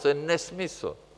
To je nesmysl!